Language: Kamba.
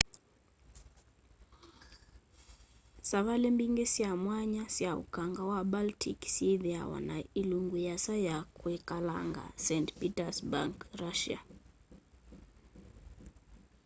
savali mbingi sya mwanya sya ukangani wa baltic syithiawa na ilungu yiasa ya kwikalanga st petersburg russia